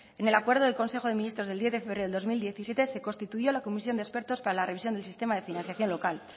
en el acuerdo del consejo de ministros del diez de febrero de dos mil diecisiete se constituyó la comisión de expertos para la revisión del sistema de financiación local